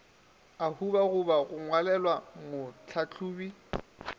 a hubala go ngwalelwa mohlahlobi